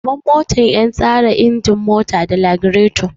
Gaban mota yan tsare ingin mota da lagireto